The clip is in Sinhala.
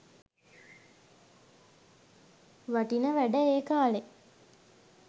වටින වැඩ ඒ කාලේ.